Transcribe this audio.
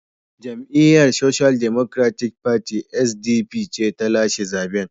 Jam’iyyar Social Democratic Party (SDP) ce ta lashe zaben.